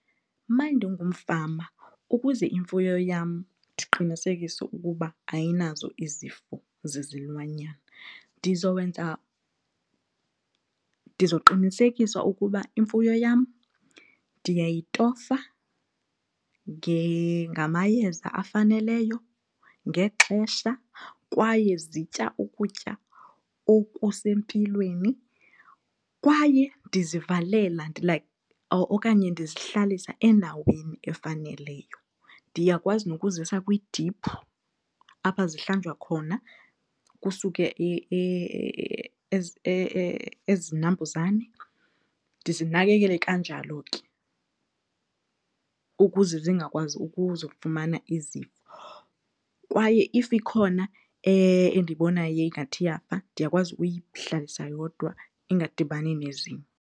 Uma ndingumfama ukuze imfuyo yam ndiqinisekise ukuba ayinazo izifo zezilwanyana ndizowenza, ndizoqinisekisa ukuba imfuyo yam ndiyayitofa ngamayeza afaneleyo ngexesha kwaye zitya ukutya okusempilweni kwaye ndizivalela like okanye ndizihlalisa endaweni efaneleyo. Ndiyakwazi nokuzisa kwidiphu apha zihlanjwa khona kusuke ezi 'nambuzane. Ndizinakekele kanjalo ke ukuze zingakwazi ukuzifumana izifo kwaye if ikhona endibonayo ingathi iyafa ndiyakwazi uyihlalisa yodwa ingadibani nezinye.